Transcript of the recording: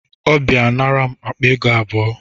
Ọ bịa nara m akpa ego abụọ